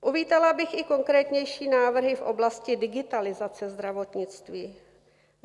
Uvítala bych i konkrétnější návrhy v oblasti digitalizace zdravotnictví.